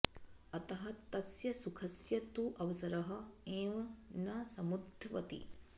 अतः तस्य सुखस्य तु अवसरः एव न समुद्भवति